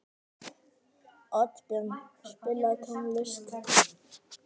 Oddbjörn, spilaðu tónlist.